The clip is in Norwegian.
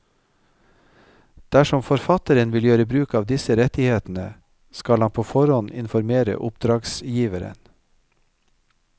Dersom forfatteren vil gjøre bruk av disse rettighetene, skal han på forhånd informere oppdragsgiveren.